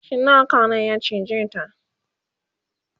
cinnaka ne ya cije ta